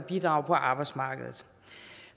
at bidrage på arbejdsmarkedet